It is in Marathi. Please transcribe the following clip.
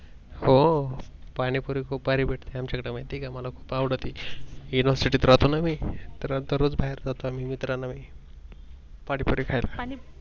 हो पाणी पुरी खूप भारी भेटते आमच्याकडे माहित आहे का मला खूप आवडते. University त राहतो ना मी तर दरोज बाहेर जातो मी मित्रांना मी पाणी पुरी खायला.